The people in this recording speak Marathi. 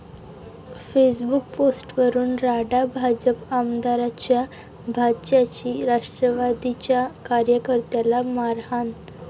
फेसबुक पोस्टवरून राडा, भाजप आमदाराच्या भाच्याची राष्ट्रवादीच्या कार्यकर्त्याला मारहाण